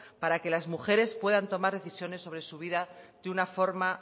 para que las mujeres puedan tomar decisiones sobre su vida de una forma